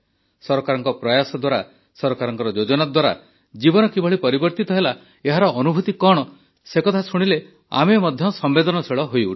ସରକାରଙ୍କ ପ୍ରୟାସ ଦ୍ୱାରା ସରକାରଙ୍କ ଯୋଜନା ଦ୍ୱାରା ଜୀବନ କିଭଳି ପରିବର୍ତ୍ତିତ ହେଲା ଏହାର ଅନୁଭୁତି କଣ ସେକଥା ଶୁଣିଲେ ଆମେ ମଧ୍ୟ ସମ୍ବେଦନଶୀଳ ହୋଇଉଠୁ